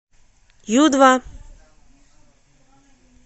ю два